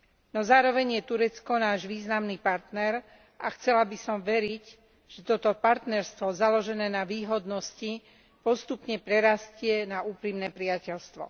No zároveň je Turecko náš významný partner a chcela by som veriť, že toto partnerstvo založené na výhodnosti postupne prerastie na úprimné priateľstvo.